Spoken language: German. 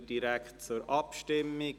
– Wir kommen direkt zur Abstimmung.